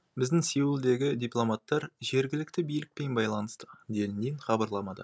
біздің сеулдегі дипломаттар жергілікті билікпен байланыста делінген хабарламада